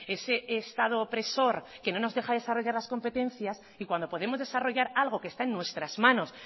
ese estado opresor que no nos deja desarrollar las competencias y cuando podemos desarrollar algo que está en nuestras manos